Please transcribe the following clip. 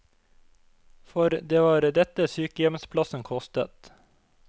For det var dette sykehjemsplassen kostet.